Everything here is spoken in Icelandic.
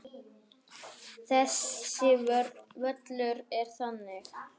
Þessi völlur er þannig.